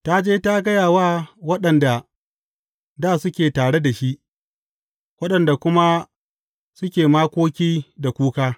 Ta je ta gaya wa waɗanda dā suke tare da shi, waɗanda kuma suke makoki da kuka.